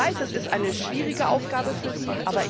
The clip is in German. kann. Ich weiß, es ist eine schwierige Aufgabe für